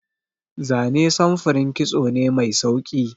Zane samfurin kitso ne mai sauki.